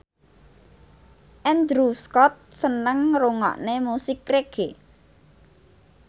Andrew Scott seneng ngrungokne musik reggae